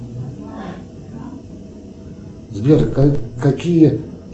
сбер какие